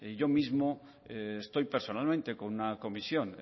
yo mismo estoy personalmente con una comisión